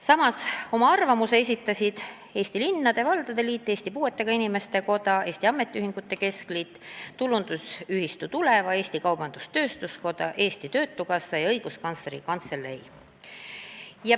Samas esitasid oma arvamuse Eesti Linnade ja Valdade Liit, Eesti Puuetega Inimeste Koda, Eesti Ametiühingute Keskliit, Tulundusühistu Tuleva, Eesti Kaubandus-Tööstuskoda, Eesti Töötukassa ja Õiguskantsleri Kantselei.